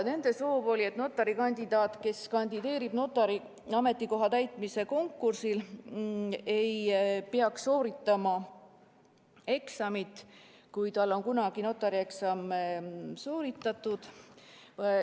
Nende soov oli, et notari kandidaat, kes kandideerib notari ametikoha täitmise konkursil, ei peaks sooritama eksamit, kui tal on kunagi notarieksam sooritatud.